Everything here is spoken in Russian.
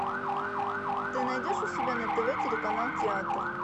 ты найдешь у себя на тв телеканал театр